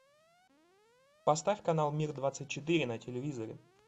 поставь канал мир двадцать четыре на телевизоре